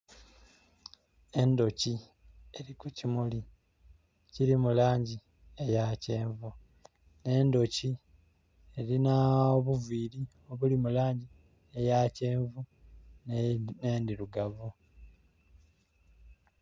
Endhoki eri ku kimuli ekiri mu langi eya kyenvu. Endhoki erina obuviri obuli mulangi eya kyenvu ne endhirugavu